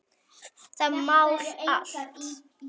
Það mál allt.